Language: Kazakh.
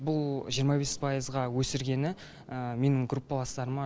бұл жиырма бес пайызға өсіргені менің группаластарыма